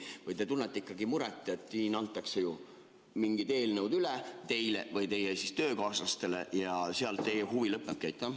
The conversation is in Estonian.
Või te tunnete ikkagi muret, et siin antakse mingid eelnõud teile või teie töökaaslastele üle ja sellega teie huvi lõppebki?